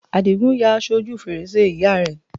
Àdìgún ya aṣọ ojú fèrèsé ìyá rẹ̀